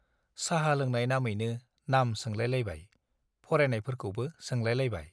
चाहा लोंनाय नामैनो नाम सोंलायलायबाय , फरायनायफोरखौ सोंलायलायबाय ।